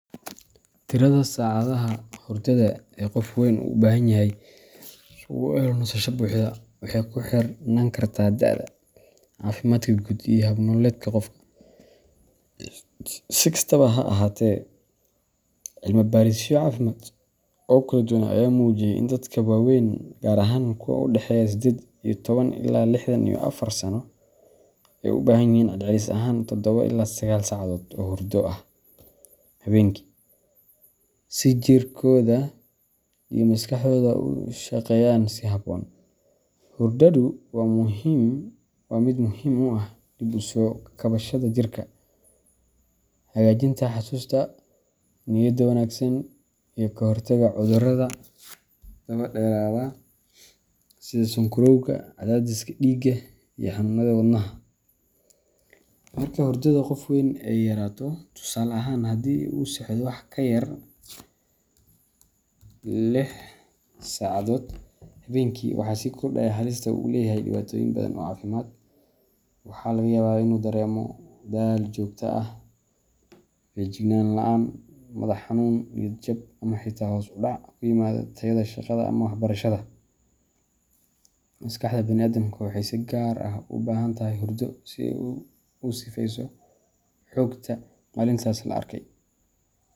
Tirada saacadaha hurdada ee qof weyn u baahan yahay si uu u helo nasasho buuxda waxay ku xirnaan kartaa da’da, caafimaadka guud, iyo hab nololeedka qofka. Si kastaba ha ahaatee, cilmi baarisyo caafimaad oo kala duwan ayaa muujisay in dadka waaweyn gaar ahaan kuwa u dhexeeya sided iyo toban ilaa lixdan iyo afar sano ay u baahan yihiin celcelis ahaan todoba ilaa sagal saacadood oo hurdo ah habeenkii si jirkooda iyo maskaxdooda u shaqeeyaan si habboon. Hurdadu waa mid muhiim u ah dib u soo kabashada jirka, hagaajinta xusuusta, niyadda wanaagsan, iyo ka hortagga cudurrada daba dheeraada sida sonkorowga, cadaadiska dhiigga, iyo xanuunnada wadnaha. Marka hurdada qof weyn ay yaraato tusaale ahaan haddii uu seexdo wax ka yar lix saacadood habeenkii waxaa sii kordhaya halista ay u leeyahay dhibaatooyin badan oo caafimaad. Waxaa laga yaabaa inuu dareemo daal joogto ah, feejignaan la’aan, madax xanuun, niyad jab, ama xitaa hoos u dhac ku yimaada tayada shaqada ama waxbarashada. Maskaxda bani’aadamka waxay si gaar ah ugu baahan tahay hurdo si ay u sifeeyso xogta maalintaas la arkay.